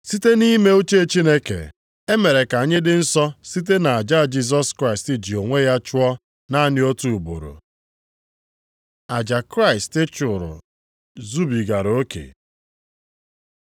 Site nʼime uche Chineke, e mere ka anyị dị nsọ site nʼaja Jisọs Kraịst ji onwe ya chụọ naanị otu ugboro. Aja Kraịst chụrụ zubigara oke